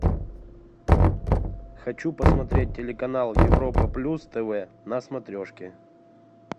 хочу посмотреть телеканал европа плюс тв на смотрешке